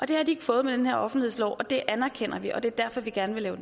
det har de ikke fået med den her offentlighedslov og det anerkender vi og det er derfor vi gerne vil lave